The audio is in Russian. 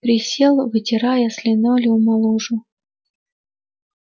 присел вытирая с линолеума лужу